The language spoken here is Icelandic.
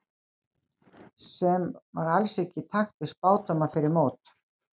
Sem var alls ekki í takt við spádóma fyrir mót.